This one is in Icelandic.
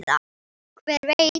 Hver veit?